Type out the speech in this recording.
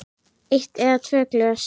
Eitt eða tvö glös.